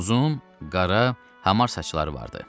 Uzun, qara, hamar saçları vardı.